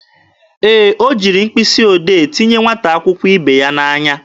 Ee, o jiri mkpịsị odee tinye nwata akwụkwọ ibe ya n'anya.